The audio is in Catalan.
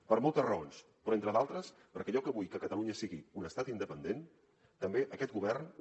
per moltes raons però entre d’altres perquè jo que vull que catalunya sigui un estat independent també aquest govern